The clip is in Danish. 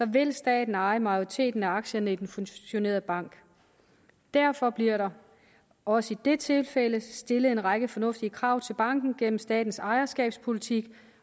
vil staten eje majoriteten af aktierne i den fusionerede bank derfor bliver der også i det tilfælde stillet en række fornuftige krav til banken gennem statens ejerskabspolitik